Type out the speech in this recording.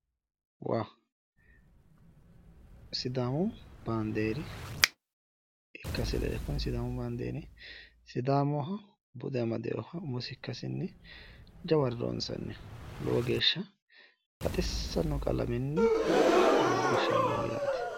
Waa! Sidaamu baanxeera ikkase leellanno. Sidaamu baandeeri sidaamaho bude amadewoho umosi ikkasinni jaware loonsanniho lowo geeshsha baxissanno qalamenni guggushshaminoho yaate.